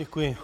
Děkuji.